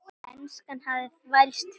Enskan hafði þvælst fyrir honum.